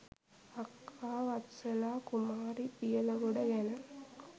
අක්කා වත්සලා කුමාරි දියලගොඩ ගැන